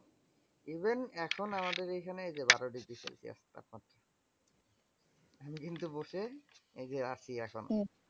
Even এখন আমাদের এখানে যে বারো degree celsius তাপমাত্রা আমি কিন্তু বসে এই যে আসি এখন।